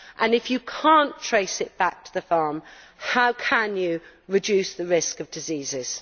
And if you cannot trace it back to the farm, how can you reduce the risk of diseases?